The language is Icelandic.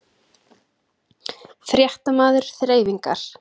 Fréttamaður: Þreifingar?